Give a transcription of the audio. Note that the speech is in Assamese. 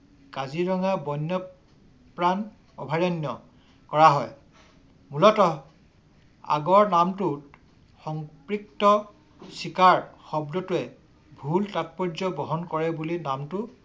কাজিৰঙা বন্যপ্ৰাণ অভয়াৰণ্য কৰা হয়। মূলত আগৰ নামটোত সংপিত্ত চিকাৰ শব্দটোৱে ভূল তাৎপৰ্য বহন কৰে বুলি নামটো